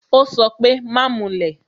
Ó sọ pé "Má mulẹ̀